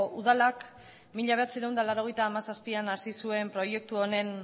udalak mila bederatziehun eta laurogeita hamazazpian hasi zuen proiektu honen